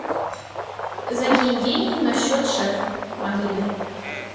закинь деньги на счет шефа мобильный